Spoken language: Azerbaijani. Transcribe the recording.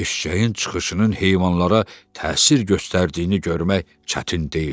Eşşəyin çıxışının heyvanlara təsir göstərdiyini görmək çətin deyildi.